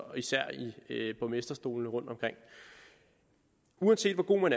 og især i borgmesterstolene rundtomkring uanset hvor god man